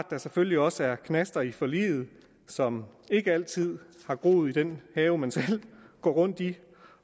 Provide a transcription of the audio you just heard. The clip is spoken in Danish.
der selvfølgelig også er knaster i forliget som ikke altid har groet i den have man selv går rundt i